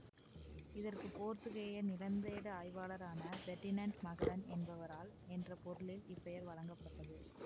இதற்கு போர்த்துகேய நிலந்தேடு ஆய்வாளரான பெர்டினென்ட் மகலன் என்பவரால் என்ற பொருளில் இப்பெயர் வழங்கப்பட்டது